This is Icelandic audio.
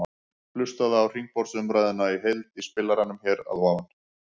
Hlustaðu á hringborðsumræðuna í heild í spilaranum hér að ofan.